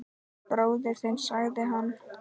Bróðir þinn sagði hann.